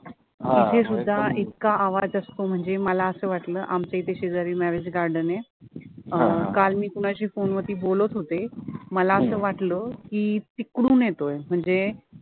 हा इथे सुद्धा इतका आवाज असतो मला असं वाटलं की आमच्या इथे शेजारी marriage garden आहे, काल मी कोणाशी phone वरती बोलत होते मला असं वाटलं तिकडून येतोय.